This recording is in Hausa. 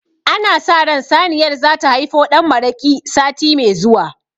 Ana sa ran saniyar zata haifo ɗan maraƙi sati me zuwa